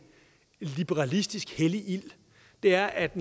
liberalistisk hellig ild er at